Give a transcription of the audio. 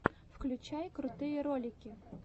включай крутые ролики